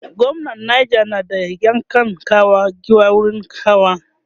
gwamnan neja na da ya kan kawo giwa wurin hawa